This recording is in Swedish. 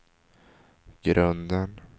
grunden